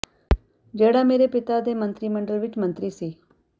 ਜਿਹੜਾ ਮੇਰੇ ਪਿਤਾ ਦੇ ਮੰਤਰੀ ਮੰਡਲ ਵਿੱਚ ਮੰਤਰੀ ਸੀ